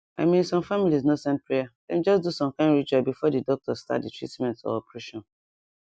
i mean some families no send prayer dem just do some kind ritual before the doctors start the treatment or operation